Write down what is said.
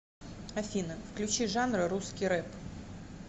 афина включи жанр русский рэп